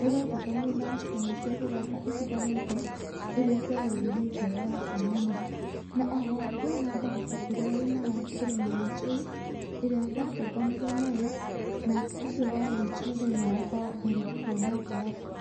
nĩndatũnganire na nyamũ cia gĩthaka itiganĩte, ĩrĩa ciagegirie ngoro yakwa mũno. Na oho ngĩona mbarabu ĩrĩa yaimaga kĩrĩma-inĩ kĩu, ĩrĩa ndatũnganire nayo, na ũcio warĩ mũthenya wakwa wa mbere kwona mbarabu.